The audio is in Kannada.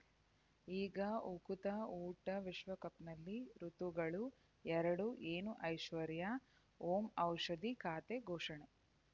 ಈಗ ಉಕುತ ಊಟ ವಿಶ್ವಕಪ್‌ನಲ್ಲಿ ಋತುಗಳು ಎರಡು ಏನು ಐಶ್ವರ್ಯಾ ಓಂ ಔಷಧಿ ಖಾತೆ ಘೋಷಣೆ